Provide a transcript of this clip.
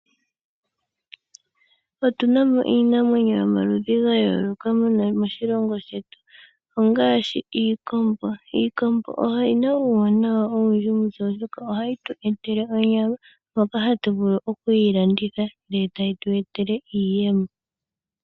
Otuna mo iinamwenyo yomaludhi ga yooloka moshilongo shetu ongaashi iikombo. Iikombo oyina uuwanawa owundji kutse oshoka ohayi tweetele onyama ndjoka hatu vulu okuyilanditha eta yi tweetele iiyemo.